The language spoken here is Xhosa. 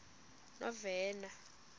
novena